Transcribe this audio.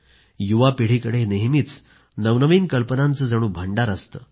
युवा पिढीकडे नेहमीच नवनवीन कल्पनांचे जणू भांडार असते